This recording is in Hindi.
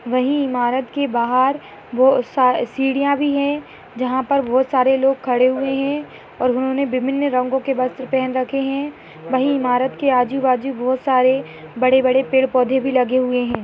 वही इमारत के बाहर बो सीढ़ियां भी है जहाँ पर बहोत सारे लोग खड़े हुए है और उन्होंने विभिन्न रंगों के वस्त्र पेहन रखे है वही इमारत के आजू-बाजू बहुत सारे बड़े-बड़े पेड़-पौधे भी लगे हुए है।